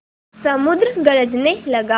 समुद्र गरजने लगा